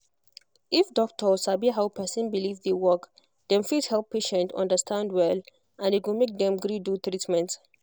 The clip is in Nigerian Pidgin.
if doctor sabi how person believe dey work dem fit help patient understand well and e go make dem gree do treatment